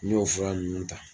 N y'o fura nunnu ta.